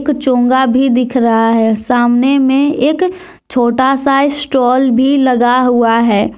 एक चोंगा भी दिख रहा है सामने में एक छोटा सा स्टॉल भी लगा हुआ है।